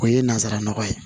O ye nazaraw ye